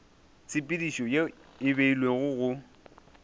tshepedišo ye e beilwego go